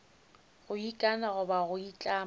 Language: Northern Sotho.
go ikana goba go itlama